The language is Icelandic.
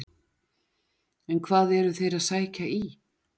En hvað eru þeir að sækja í?